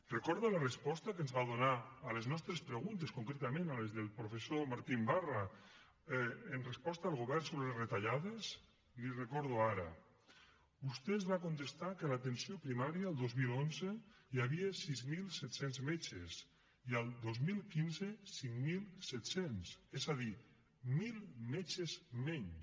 recorda la resposta que ens va donar a les nostres preguntes concretament a les del professor martín barra en resposta del govern sobre retallades li ho recordo ara vostè ens va contestar que a l’atenció primària el dos mil onze hi havia sis mil set cents metges i el dos mil quinze cinc mil set cents és a dir mil metges menys